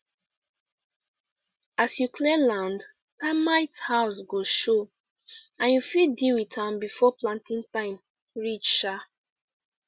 as you clear land termite house go show and you fit deal with am before planting time reach um